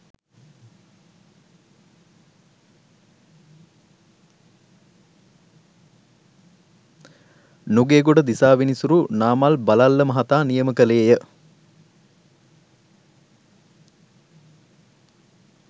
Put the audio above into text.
නුගේගොඩ දිසා විනිසුරු නාමල් බලල්ල මහතා නියම කෙළේය.